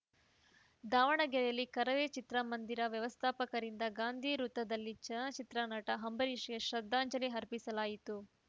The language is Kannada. ದಾವಣಗೆರೆಯಲ್ಲಿ ಕರವೇ ಚಿತ್ರಮಂದಿರ ವ್ಯವಸ್ಥಾಪಕರಿಂದ ಗಾಂಧಿ ವೃತ್ತದಲ್ಲಿ ಚಲನಚಿತ್ರ ನಟ ಅಂಬರೀಷ್‌ಗೆ ಶ್ರದ್ದಾಂಜಲಿ ಅರ್ಪಿಸಲಾಯಿತು